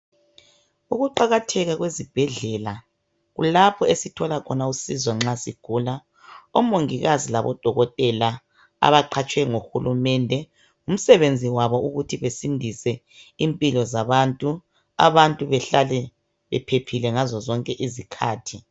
Ukuqakatheka kwezibhedlela kulapho esithola khona usizo nxa sigula omongikazi labodokotela abaqhatshwe nguHulumende ngumsebenzi wabo ukuthi basindise impilo zabantu abantu behlale bephephile ngazo zonke izikhathi.